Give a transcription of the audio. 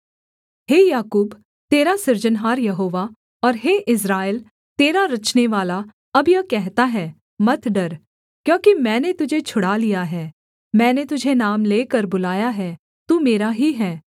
हे याकूब तेरा सृजनहार यहोवा और हे इस्राएल तेरा रचनेवाला अब यह कहता है मत डर क्योंकि मैंने तुझे छुड़ा लिया है मैंने तुझे नाम लेकर बुलाया है तू मेरा ही है